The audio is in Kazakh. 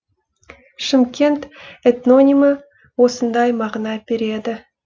шымкент этнонимі осындай мағына береді